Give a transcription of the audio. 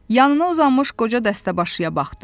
Yanına uzanmış qoca dəstəbaşıya baxdı.